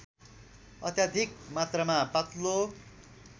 अत्याधिक मात्रामा पातलो